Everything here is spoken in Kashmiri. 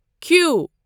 کیٛو